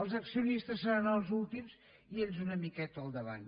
els accionistes seran els últims i ells una miqueta al davant